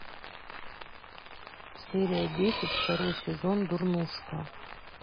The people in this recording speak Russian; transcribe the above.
серия десять второй сезон дурнушка